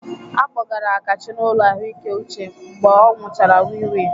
A kpọgara Kachi n'ụlọ ahụike uche mgbe ọ nwụchara wii wii.